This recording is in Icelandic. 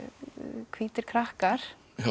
hvítir krakkar